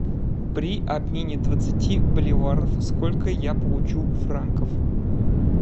при обмене двадцати боливаров сколько я получу франков